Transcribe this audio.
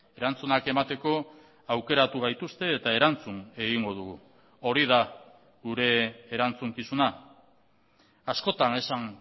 erantzunak emateko aukeratu gaituzte eta erantzun egingo dugu hori da gure erantzukizuna askotan esan